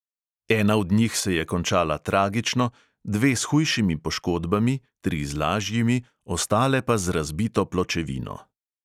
Ena od njih se je končala tragično, dve s hujšimi poškodbami, tri z lažjimi, ostale pa z razbito pločevino.